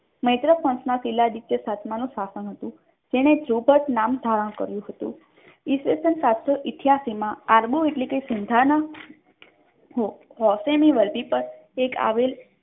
મૈત્રકાળમાં Shiladitya ત્રીજા નું શાસન હતું તેને ચુંબક નામ ધારણ કર્યું હતું ઈસવીસન સાતસો ઇથ્યાસી માં આરબો એટલે કે સિંધાના ખાંસીની વર્ધી પર એક આવેલ